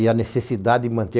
E a necessidade de manter